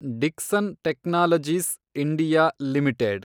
Dixon technologies (India) limited